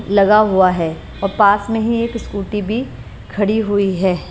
लगा हुआ है और पास में ही एक स्कूटी भी खड़ी हुई है।